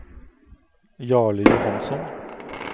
Jarle Johansson